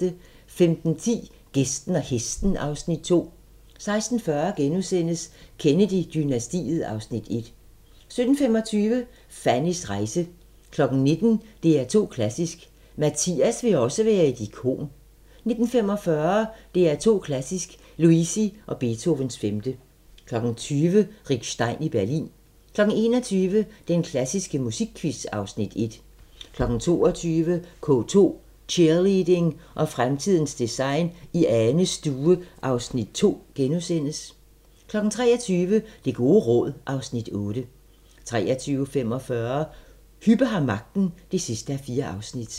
15:10: Gæsten og Hesten (Afs. 2) 16:40: Kennedy-dynastiet (Afs. 1)* 17:25: Fannys rejse 19:00: DR2 Klassisk: Mathias vil også være et ikon 19:45: DR2 Klassisk: Luisi & Beethovens 5. 20:00: Rick Stein i Berlin 21:00: Den klassiske musikquiz (Afs. 1) 22:00: K2: Cheerleading og fremtidens design i Anes stue (Afs. 2)* 23:00: Det gode råd (Afs. 8) 23:45: Hübbe har magten (4:4)